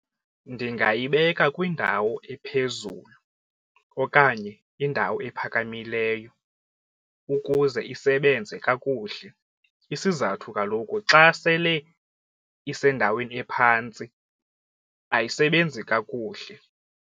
Ndingayibeka kwindawo ephezulu okanye indawo ephakamileyo ukuze isebenze kakuhle isizathu kaloku xa sele isendaweni ephantsi ayisebenzi kakuhle.